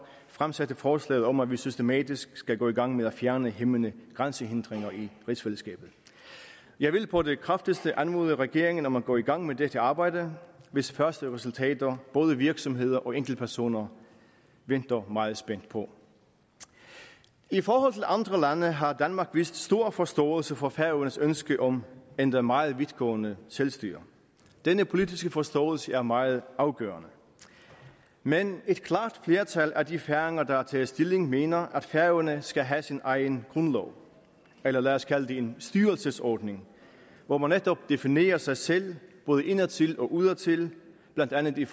fremsatte forslaget om at vi systematisk skal gå i gang med at fjerne hæmmende grænsehindringer i rigsfællesskabet jeg vil på det kraftigste anmode regeringen om at gå i gang med dette arbejde hvis første resultater både virksomheder og enkeltpersoner venter meget spændt på i forhold til andre lande har danmark vist stor forståelse for færøernes ønske om endda meget vidtgående selvstyre denne politiske forståelse er meget afgørende men et klart flertal af de færinger der har taget stilling mener at færøerne skal have sin egen grundlov eller lad os kalde det en styrelsesordning hvor man netop definerer sig selv både indadtil og udadtil blandt andet i